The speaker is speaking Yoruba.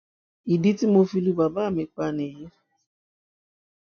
ìdí tí mo fi lu bàbá mi pa nìyí